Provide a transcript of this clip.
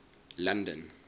london